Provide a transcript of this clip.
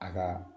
A ka